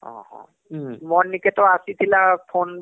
ଓହୋ ମୋର ନିକେ ଆସିଥିଲା phone ବୋଇଲେ